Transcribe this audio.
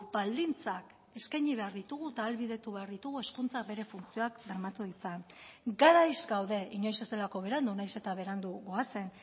baldintzak eskaini behar ditugu eta ahalbidetu behar ditugu hezkuntza bere funtzioak bermatu ditzan garaiz gaude inoiz ez delako berandu nahiz eta berandu goazen